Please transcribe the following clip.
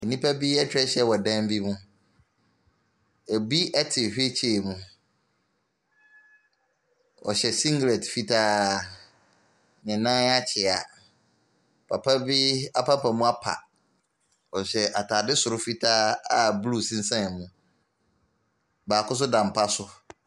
Nnipa bi atwa ahyia wɔ dan bi mu, binom te wheelchair mu, ɔhyɛ singlet fitaa, ne nan akyea, papa bi apampam apa, ɔhyɛ ataade soro fitaa a blue sensɛn mu, baako nso da mpa so.